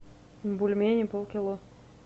бульмени полкило